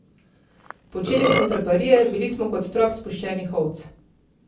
Počeli smo traparije, bili smo kot trop spuščenih ovc.